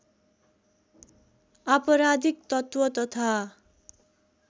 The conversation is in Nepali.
आपराधिक तत्त्व तथा